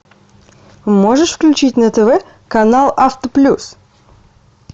можешь включить на тв канал авто плюс